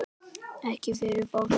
Ekki fyrir fólk?